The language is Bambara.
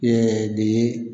de ye